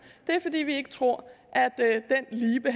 er at vi ikke tror